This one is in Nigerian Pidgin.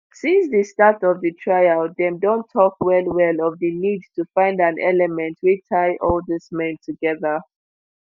since di start of di trial dem don tok well-well of di need to find an element wey tie all dis men togeda.